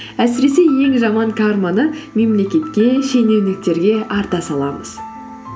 әсіресе ең жаман карманы мемлекетке шенеуніктерге арта саламыз